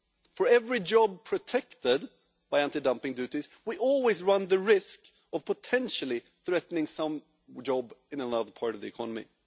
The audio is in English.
For every job protected by anti dumping duties, we always run the risk of potentially threatening some job in another part of the economy.